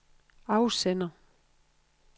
afsender